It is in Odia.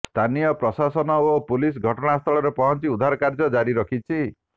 ସ୍ଥାନୀୟ ପ୍ରଶାସନ ଓ ପୁଲିସ୍ ଘଟଣାସ୍ଥଳରେ ପହଞ୍ଚି ଉଦ୍ଧାରକାର୍ଯ୍ୟ ଜାରି ରଖିଛି